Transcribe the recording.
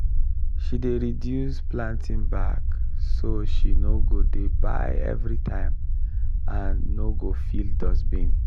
she dey reuse planting bag so she no go dey buy every time and no go fill dustbin.